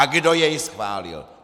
A kdo jej schválil?